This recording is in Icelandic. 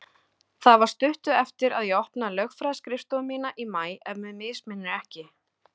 Það var stuttu eftir að ég opnaði lögfræðiskrifstofu mína í maí, ef mig misminnir ekki.